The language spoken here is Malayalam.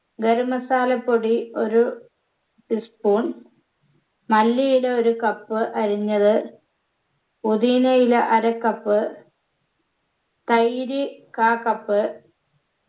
ഗരം masala പൊടി ഒരു tea spoon മല്ലിയില ഒരു cup അരിഞ്ഞത് പൊതീനയില അര cup തൈര് കാ cup